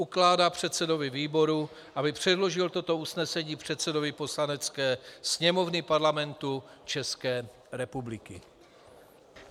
Ukládá předsedovi výboru, aby předložil toto usnesení předsedovi Poslanecké sněmovny Parlamentu České republiky.